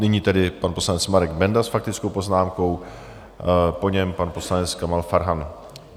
Nyní tedy pan poslanec Marek Benda s faktickou poznámkou, po něm pan poslanec Kamal Farhan.